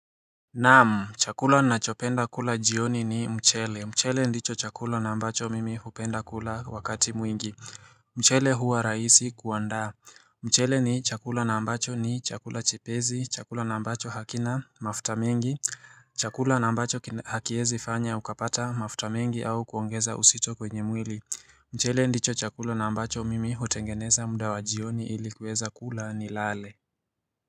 Naam. Chakula ninachopenda kula jioni ni mchele. Mchele ndicho chakula na ambacho mimi hupenda kula wakati mwingi. Mchele huwa raisi kuandaa. Mchele ni chakula na ambacho ni chakula chipesi. Chakula na ambacho hakina mafuta mengi. Chakula na ambacho hakiwezi fanya ukapata mafuta mengi au kuongeza uzito kwenye mwili. Mchele ndicho chakula na ambacho mimi hutengeneza muda wa jioni ilikuweza kula ni lale.